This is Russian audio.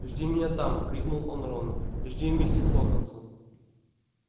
жди меня там крикнул он рону жди вместе с локонсом